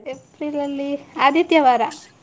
April ಅಲ್ಲಿ ಆದಿತ್ಯವಾರ.